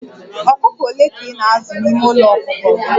ọkụkọ ole ka ị na-azụ n'ime ụlọ ọkụkọ gị?